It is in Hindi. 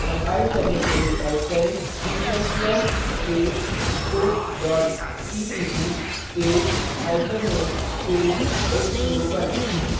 कंपाइल करने के लिए type करें g ++ space scope dot cpp spaceo space sco1